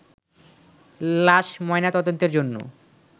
লাশ ময়নাতদন্তের জন্য